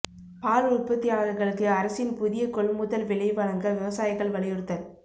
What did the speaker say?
பால் உற்பத்தியாளா்களுக்கு அரசின் புதிய கொள்முதல் விலை வழங்க விவசாயிகள் வலியுறுத்தல்